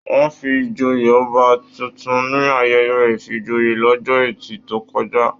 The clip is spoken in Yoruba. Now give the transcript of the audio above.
Wọn fí joyè ọba títún ní ayẹyẹ ifíjòyè l'ọjọ́ ẹtì tó kọjá